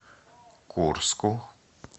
курску